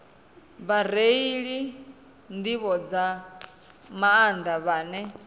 vhareili nḓivho nga maanḓa vhane